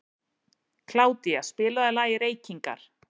Kládía, spilaðu lagið „Reykingar“.